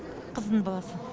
қызымның баласы